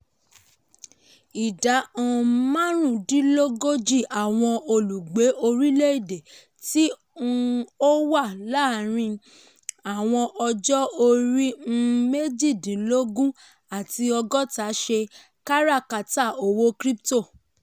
ìdá um márùúndínlógójì àwọn olùgbé orílẹ̀-èdè tí um ó wà láàárín àwọn ọjọ́-orí um méjìdínlógún àti ọgọ́ta ṣe káràkátà owó crypto.